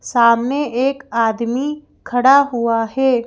सामने एक आदमी खड़ा हुआ है।